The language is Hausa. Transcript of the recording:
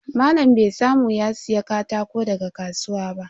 Malam bai samu ya siya katako daga kasuwa ba.